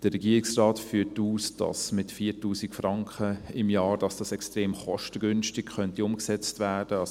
Der Regierungsrat führt aus, dass dies mit 4000 Franken im Jahr extrem kostengünstig umgesetzt werden könnte.